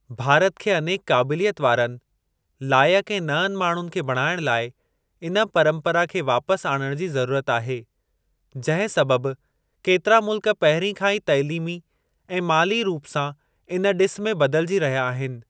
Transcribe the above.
भारत खे अनेक क़ाबिलियत वारनि, लाइक ऐं नंअनि माण्हुनि खे बणाइण लाइ इन परंपरा खे वापसि आणण जी ज़रूरत आहे, जंहिं सबबि केतिरा मुल्क पहिरीं खां ई तइलीमी ऐं माली रूप सां इन डि॒सु में बदिलिजी रहिया आहिनि।